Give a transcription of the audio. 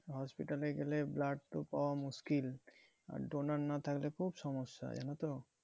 Hospital এ গেলে blood তো পাওয়া মুশকিল আর donor না থাকলে খুব সমস্যা জানো তো।